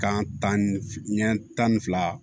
Kan tan ni ɲɛ tan ni fila